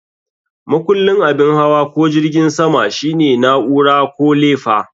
Makullin abin hawa ko jirgin sama shine na'ura ko lefa.